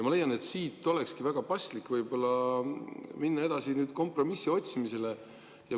Ma leian, et siit olekski väga paslik võib-olla minna edasi kompromissi otsimisele.